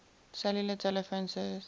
cellular telephone service